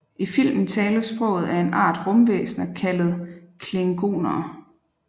I filmen tales sproget af en art rumvæsener kaldet klingonere